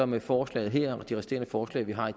med forslaget her og de resterende forslag vi har